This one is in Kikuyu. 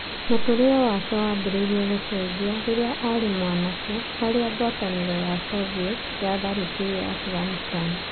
Mũtũrĩrĩ wake wambirie gũcenjia rĩrĩa arĩ mwanake harĩa ngwatanĩrũ ya soviet watharĩkĩire Afghanistan.